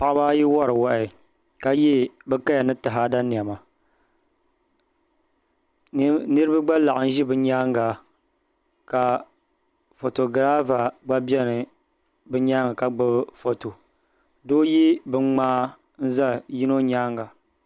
Paɣaba ayi wori wahi ka yɛ bi kaya ni taada niɛma niraba gba laɣim ʒi bi nyaanŋa ka foto girava gba biɛ bi nyaanga ka gbubi foto doo yɛ binŋmaa n ʒɛ yino nyaanga